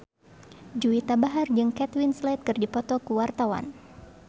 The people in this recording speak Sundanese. Juwita Bahar jeung Kate Winslet keur dipoto ku wartawan